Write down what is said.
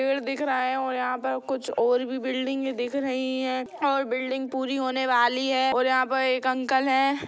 पेड़ दिख रहा है और यहा पर कुछ और भी बिल्डिंगे दिख रही है और बिल्डिंग पूरी होने वाली है और यहा पर एक अंकल है।